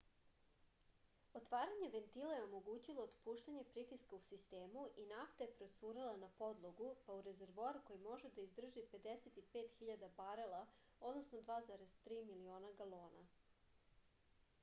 отварање вентила је омогућило отпуштање притиска у систему и нафта је процурела на подлогу па у резервоар који може да издржи 55.000 барела 2,3 милиона галона